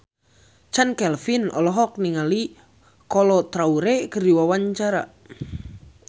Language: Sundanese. Chand Kelvin olohok ningali Kolo Taure keur diwawancara